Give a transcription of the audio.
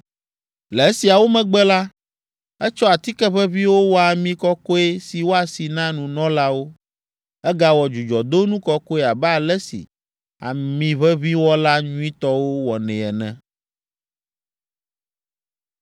Le esiawo megbe la, etsɔ atike ʋeʋĩwo wɔ ami kɔkɔe si woasi na nunɔlawo. Egawɔ dzudzɔdonu kɔkɔe abe ale si amiʋeʋĩwɔla nyuitɔwo wɔnɛ ene.